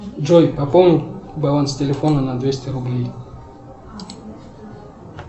джой пополни баланс телефона на двести рублей